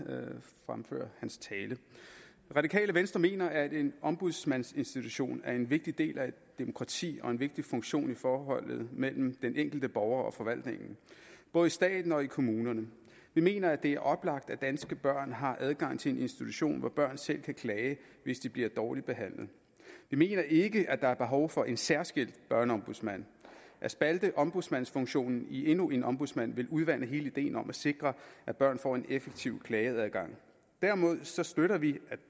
fremføre hans tale det radikale venstre mener at en ombudsmandsinstitution er en vigtig del af et demokrati og en vigtig funktion i forholdet mellem den enkelte borger og forvaltningen både i staten og i kommunerne vi mener at det er oplagt at danske børn har adgang til en institution hvor børn selv kan klage hvis de bliver dårligt behandlet vi mener ikke at der er behov for en særskilt børneombudsmand at spalte ombudsmandsfunktionen i endnu en ombudsmand vil udvande hele ideen om at sikre at børn får en effektiv klageadgang derimod støtter vi at